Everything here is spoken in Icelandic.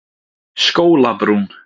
Skólabrún